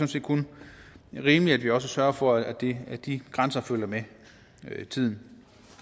set kun rimeligt at vi også sørger for at de at de grænser følger med tiden